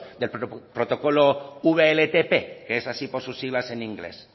del protocolo wltp que es así por sus siglas en inglés